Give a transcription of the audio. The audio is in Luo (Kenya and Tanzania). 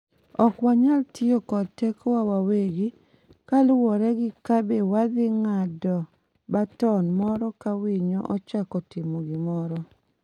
Ok wanyal tiyo kod tekowa wawegi kaluwore gi ka be wadhi ng’ado baton moro ka winyo ochako timo gimoro.